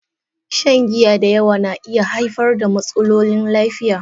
Shan giya da yawa na iya haifar da matsalolin lafiya.